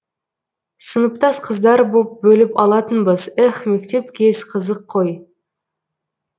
сыныптас қыздар боп бөліп алатынбыз эх мектеп кез қызық қой